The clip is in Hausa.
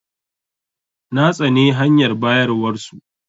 Na tsane hanyar bayarwar su.